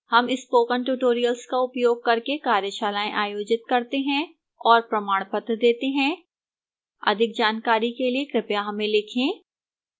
हम spoken tutorial का उपयोग करके कार्यशालाएँ आयोजित करते हैं और प्रमाणपत्र देती है अधिक जानकारी के लिए कृपया हमें लिखें